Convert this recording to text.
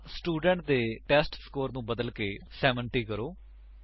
ਹੁਣ ਸਟੂਡੇਂਟ ਦੇ ਟੈਸਟਸਕੋਰ ਨੂੰ ਬਦਲਕੇ 70 ਕਰੋ